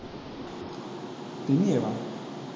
இங்கேவா